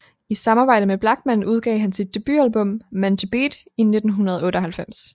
I samarbejde med Blachman udgav han sit debutalbum Men To Beat i 1998